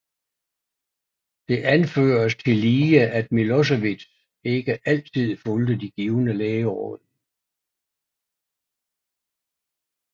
Det anføres tillige at Milošević ikke altid fulgte de givne lægeråd